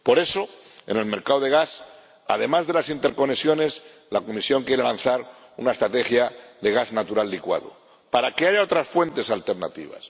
Por eso, en el mercado del gas, además de las interconexiones, la Comisión quiere lanzar una estrategia de gas natural licuado, para que haya otras fuentes alternativas.